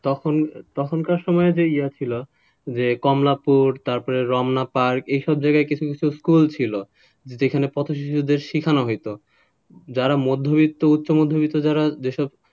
তখন তখনকার সময়ে যে ছিল কমলাপুর তারপরে রমনা park এইসব জায়গায় কিছু কিছু school ছিল যেখানে পথশিশুদের শেখানো হতোযারা মধ্যবিত্ত উচ্চ-মধ্যবিত্ত যারা,